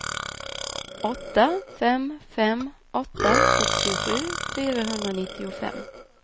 åtta fem fem åtta sextiosju fyrahundranittiofem